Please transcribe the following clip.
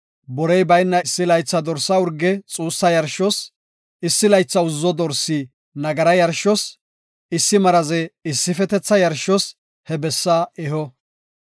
borey bayna issi laytha dorsa urge xuussa yarshos, issi laytha uzzo dorsi nagara yarshos, issi maraze issifetetha yarshos he bessaa eho.